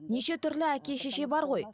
неше түрлі әке шеше бар ғой